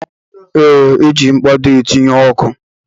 Ee, e ji mkpado etinye ọkụ